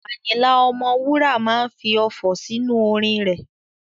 Àyìnlà Ọmọwúrà máa fi ọfọ̀ sí inú orin rẹ̀.